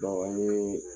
Dɔw ye